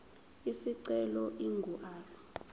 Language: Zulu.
isicelo ingu r